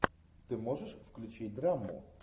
ты можешь включить драму